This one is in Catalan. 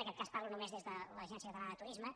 en aquest cas parlo només des de l’agència catalana de turisme